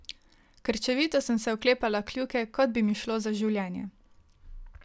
Krčevito sem se oklepala kljuke, kot bi mi šlo za življenje.